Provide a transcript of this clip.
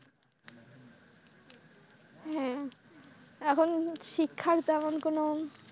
হ্যাঁ, এখন শিক্ষার তেমন কোনও